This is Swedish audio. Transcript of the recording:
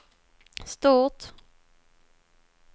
stort